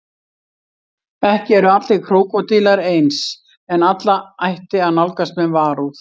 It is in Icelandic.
Ekki eru allir krókódílar eins en alla ætti að nálgast með varúð.